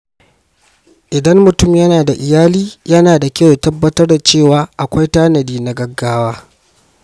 Idan mutum yana da iyali, yana da kyau ya tabbatar da cewa akwai tanadi na gaugawa.